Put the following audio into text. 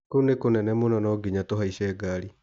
Kũu nĩ kũnene mũno no nginya tũhaice gari.